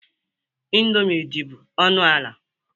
Indọmii dị bụ ọnụ ala.